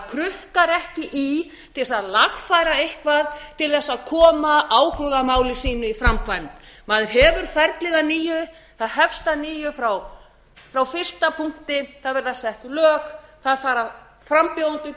krukka ekki í til þess að lagfæra eitthvað til þess að koma áhugamáli sínu í framkvæmd maður hefur ferlið að nýju það hefst að nýju frá fyrsta punkti það verða sett lög það fara frambjóðendur